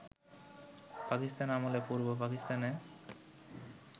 পাকিস্তান আমলে পূর্ব পাকিস্তানে